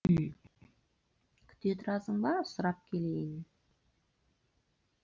күте тұрасың ба сұрап келейін